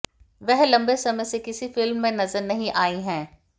वह लंबे समय से किसी फिल्म में नजर नहीं आई हैं